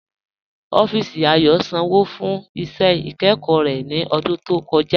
Ọffísì Ayò sànwo fún iṣẹ́ ikẹ́kọ̀ rẹ̀ ní ọ̀dún tó kọ̀ja.